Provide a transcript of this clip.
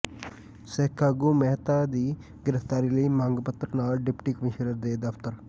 ਸਿੱਖ ਆਗੂ ਮਹਿਤਾ ਦੀ ਗ੍ਰਿਫਤਾਰੀ ਲਈ ਮੰਗ ਪੱਤਰ ਨਾਲ ਡਿਪਟੀ ਕਮਿਸ਼ਨਰ ਦੇ ਦਫਤਰ